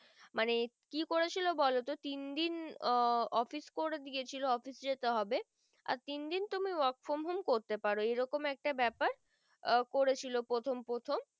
কি করে ছিল বলো তো তিন দিন আহ office করে দিয়েছিলো office যেতে হবে আর তিন দিন তুমি work from home করতে পার এরম একটা বেপার আহ করে ছিল প্রথম প্রথম